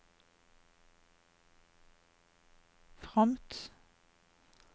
fromt